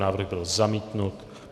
Návrh byl zamítnut.